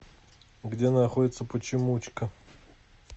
где находится почемучка